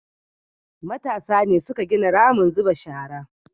matasa ne suka gina ramin zuba shara